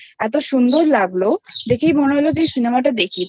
সুন্দর লাগলো দেখেই মনে হলো Cinemaটা দেখি তো